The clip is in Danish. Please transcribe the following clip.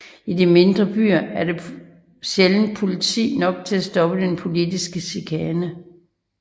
I de mindre byer var der sjældent politi nok til at stoppe den politiske chikane